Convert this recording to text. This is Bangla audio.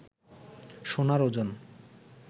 সোনার ওজন